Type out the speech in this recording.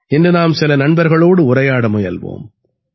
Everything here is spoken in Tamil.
இன்று நாம் சில நண்பர்களோடு உரையாட முயல்வோம்